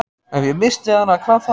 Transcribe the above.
Ef ég missti hana, hvað þá?